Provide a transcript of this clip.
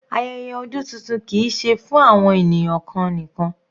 Ayẹyẹ ọdún tuntun kìí ṣe fún àwọn ènìyàn kan nìkan.